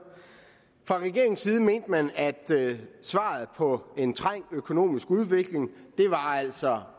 fra regeringens side mente man at svaret på en trængt økonomisk udvikling altså